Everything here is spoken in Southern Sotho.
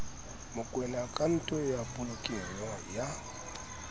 mokoena akhaonto ya polokelo ya